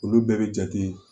Olu bɛɛ bɛ jate